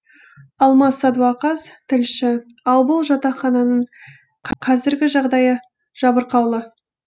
алмас садуақас тілші ал бұл жатақхананың қазіргі жағдайы жабырқаулы